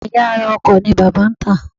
Ẹ̀yà ara ọkọ̀ ni bàbá ń tà